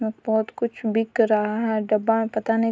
अ बहुत कुछ बिका रहा है डब्बा में पता नहीं --